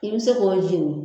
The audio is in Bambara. I bi se k'o jeni.